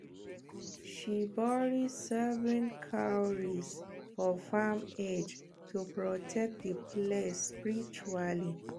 she bury seven cowries for farm edge to protect the place spiritually